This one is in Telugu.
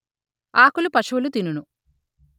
ఆకులు పశువులు తినును